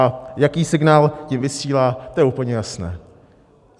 A jaký signál tím vysílá, to je úplně jasné.